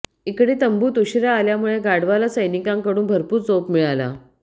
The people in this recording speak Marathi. इकडे तंबूत उशीरा आल्यामुळे गाढवाला सैनिकांकडून भरपूर चोप मिळाला